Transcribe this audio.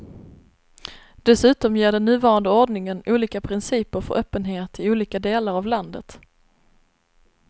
Dessutom ger den nuvarande ordningen olika principer för öppenhet i olika delar av landet.